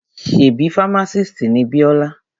Ṣebí fámásìst ni Bíọ́lá?